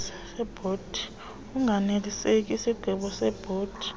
unganelisekanga sisigqibo sebhodi